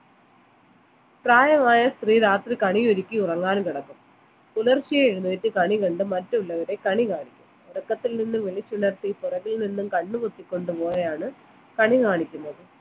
പ്രായമായ സ്ത്രീ രാത്രി കണി ഒരുക്കി ഉറങ്ങാനും കിടക്കും പുലർച്ചെഴുന്നേറ്റ് കണി കണ്ട് മറ്റുള്ളവരെ കണി കാണിക്കും ഉറക്കത്തിൽ നിന്നും വിളിച്ചുണർത്തി പുറകിൽ നിന്നും കണ്ണുപൊത്തി കൊണ്ടുപോയാണ് കണികാണിക്കുന്നത്